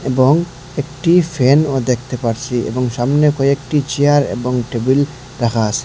এবং একটি ফ্যানও দেখতে পারছি এবং সামনে কয়েকটি চেয়ার এবং টেবিল রাখা আসে।